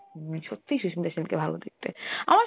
হম, সত্যি সুস্মিতা সেনকে ভালো দেখতে. আমার,